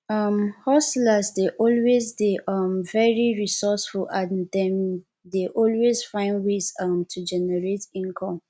um hustlers dey always dey um very resourceful and dem dey always find ways um to generate income